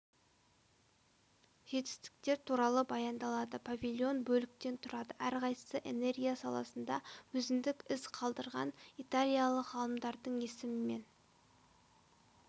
жетістіктер туралы баяндалады павильон бөліктен тұрады әрқайсысы энергия саласында өзіндік із қалдырған италиялық ғалымдардың есімімен